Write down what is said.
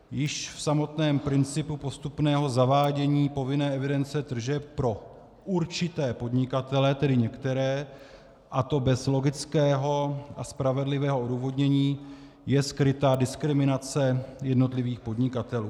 Již v samotném principu postupného zavádění povinné evidence tržeb pro určité podnikatele, tedy některé, a to bez logického a spravedlivého odůvodnění, je skryta diskriminace jednotlivých podnikatelů.